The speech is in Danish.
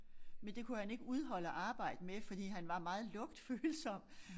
Men det kunne han ikke udholde at arbejde med fordi han var meget lugtfølsom